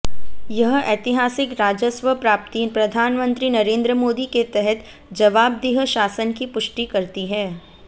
यह ऐतिहासिक राजस्व प्राप्ति प्रधानमंत्री नरेंद्र मोदी के तहत जवाबदेह शासन की पुष्टि करती है